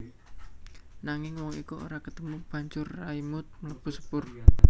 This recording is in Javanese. Nanging wong iku ora ketemu banjur Raimund mlebu sepur